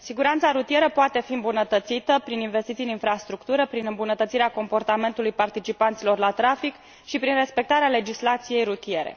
Siguranța rutieră poate fi îmbunătățită prin investiții în infrastructură, prin îmbunătățirea comportamentului participanților la trafic și prin respectarea legislației rutiere.